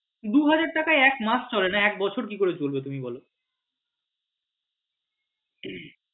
দুহাজার টাকায় এক মাস চলে না এক বছর কি করে চলবে তুমি বল